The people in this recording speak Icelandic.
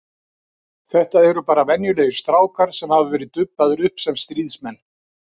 Þetta eru bara venjulegir strákar sem hafa verið dubbaðir upp sem stríðsmenn.